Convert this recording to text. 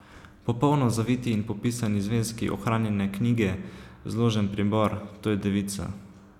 Popolno zaviti in popisani zvezki, ohranjene knjige, zložen pribor, to je devica.